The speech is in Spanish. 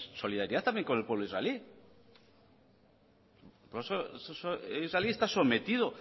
solidaridad también con el pueblo israelí el pueblo israelí está sometido